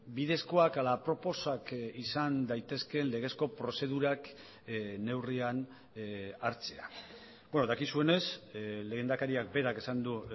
bidezkoak ala aproposak izan daitezkeen legezko prozedurak neurrian hartzea dakizuenez lehendakariak berak esan du